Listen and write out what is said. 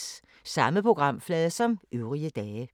Samme programflade som øvrige dage